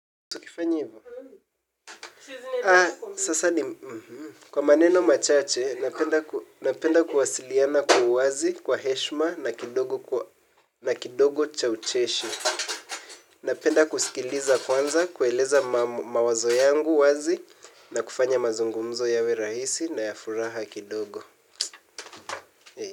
Kwa maneno machache, napenda kuwasiliana kwa uwazi kwa heshma na kidogo cha ucheshi. Napenda kusikiliza kwanza, kueleza mawazo yangu wazi na kufanya mazungumzo yawe rahisi na ya furaha kidogo.